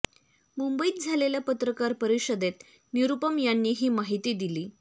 मुंबईत झालेल्या पत्रकार परिषदेत निरूपम यांनी ही माहिती दिली